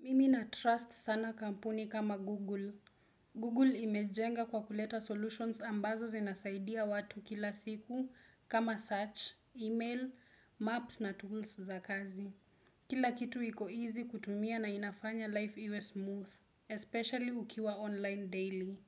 Mimi na trust sana kampuni kama Google. Google imejenga kwa kuleta solutions ambazo zinasaidia watu kila siku kama search, email, maps na tools za kazi. Kila kitu iko easy kutumia na inafanya life iwe smooth, especially ukiwa online daily.